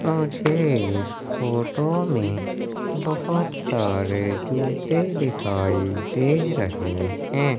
अ मुझे इस फोटो में बहोत सारे जूते दिखाई दे रहे हैं।